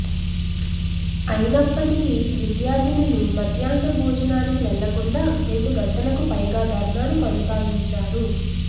అయినప్పటికీ విద్యార్థినులు మధ్యాహ్న భోజనానికి వెళ్లకుండా రెండుగంటలకు పైగా ధర్నాను కొనసాగించారు